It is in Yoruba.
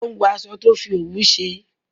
o n wo aṣọ tí a fí òwú ṣe.